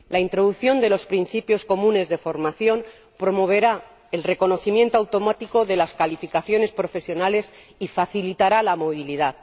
la introducción de los principios comunes de formación promoverá el reconocimiento automático de las cualificaciones profesionales y facilitará la movilidad.